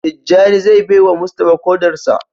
Tijjani zai baiwa Mustapha kodar sa.